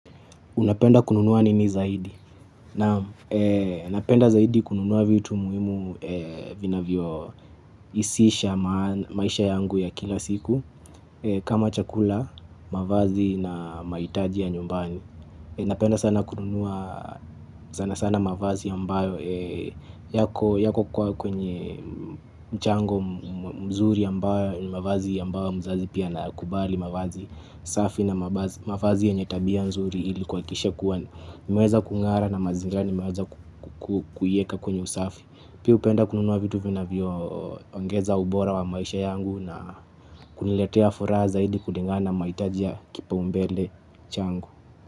Unapenda kununua nini zaidi napenda zaidi kununua vitu muhimu vinavyorahisisha maisha yangu ya kila siku. Kama chakula, mavazi na mahitaji ya nyumbani napenda sana kununuaa sana sana mavazi ya mbayo yako kwa kwenye mchango mzuri mbayo ni mavazi mbayo mzazi pia anayakubali mavazi safi na mavazi yenye tabia nzuri ili kuhakikisha kuwa nimeweza kung'ara na mazingira nimeweza kuyaweka kwenye usafi. Pia hupenda kununua vitu vinavyo ongeza ubora wa maisha yangu na kuniletea furaha zaidi kulingana mahitaji ya kipaumbele changu.